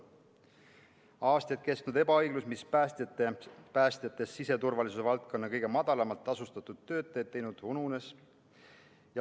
Aastaid kestnud ebaõiglus, mis on päästjatest siseturvalisuse valdkonna kõige madalamalt tasustatud töötajad teinud, ununes.